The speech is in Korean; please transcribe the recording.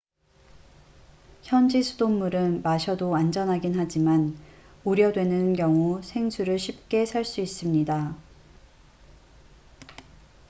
현지 수돗물은 마셔도 안전하긴 하지만 우려되는 경우 생수를 쉽게 살 수 있습니다